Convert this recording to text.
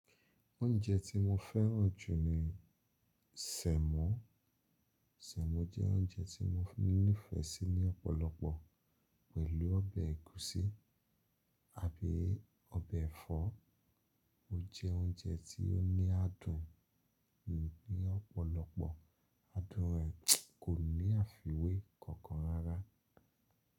Oúnjẹ tí mo fẹ́ràn jù ni Sẹ̀mo. Sẹ̀mo jẹ́ oúnjẹ tí mo ní ìfẹ́ sí ní ọ̀pọ̀lọpọ̀ pẹ̀lú ọbẹ̀ ẹ̀gúsí àbí ọbẹ̀ ẹ̀fọ́. O jẹ oúnjẹ tí ó ní adùn ní ọ̀pọ̀lọpọ̀, adùn rẹ̀ kò ní àfiwé kankan rárá.